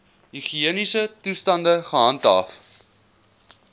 higiëniese toestande gehandhaaf